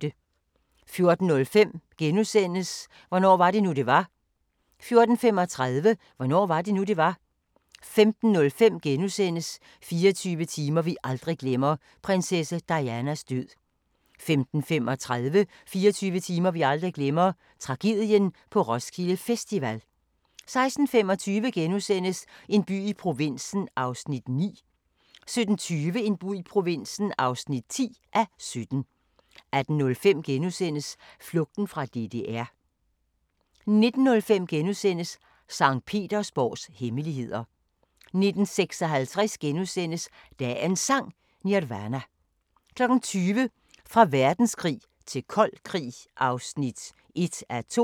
14:05: Hvornår var det nu, det var? * 14:35: Hvornår var det nu, det var? 15:05: 24 timer vi aldrig glemmer – prinsesse Dianas død * 15:35: 24 timer vi aldrig glemmer – Tragedien på Roskilde Festival 16:25: En by i provinsen (9:17)* 17:20: En by i provinsen (10:17) 18:05: Flugten fra DDR * 19:05: Sankt Petersborgs hemmeligheder * 19:56: Dagens Sang: Nirvana * 20:00: Fra verdenskrig til kold krig (1:2)